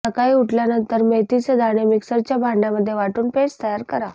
सकाळी उठल्यानंतर मेथीचे दाणे मिक्सरच्या भांड्यामध्ये वाटून पेस्ट तयार करा